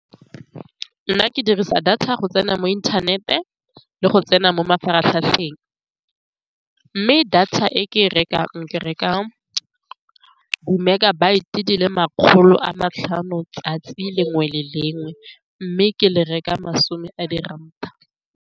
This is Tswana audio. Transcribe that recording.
Nna ke dirisa data go tsena mo inthanete le go tsena mo mafaratlhatlheng, mme data e ke e rekang, ke reka di-megabyte di le makgolo a matlhano letsatsi le lengwe le le lengwe, mme ke le reka masome a di ranta.